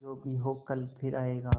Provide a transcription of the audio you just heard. जो भी हो कल फिर आएगा